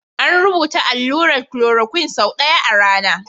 An rubuta allurar chloroquine sau ɗaya a rana.